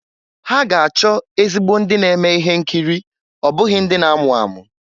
Ha ga-achọ ezigbo ndị na-eme ihe nkiri ọ bụghị ndị na-amụ amụ.